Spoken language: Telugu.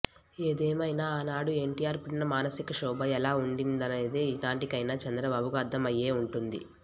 ఏదేమైనా ఆనాడు ఎన్టీఆర్ పడిన మానసిక క్షోభ ఎలా ఉండిందనేది ఈనాటికైనా చంద్రబాబుకు అర్ధమయ్యే ఉంటుంది